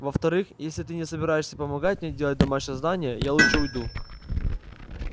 во-вторых если ты не собираешься помогать мне делать домашнее задание я лучше уйду